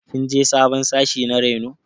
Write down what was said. Kin je sabon sashi na reno?